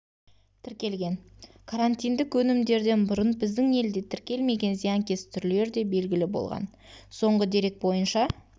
тіркелген карантиндік өнімдерден бұрын біздің елде тіркелмеген зиянкес түрлері де белгілі болған соңғы дерек бойынша